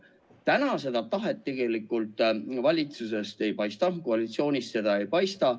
Praegu seda tahet valitsusest tegelikult ei paista, koalitsioonist seda ei paista.